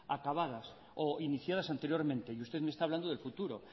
acabadas o iniciadas anteriormente y usted me está hablando del futuro